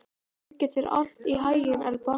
Gangi þér allt í haginn, Elba.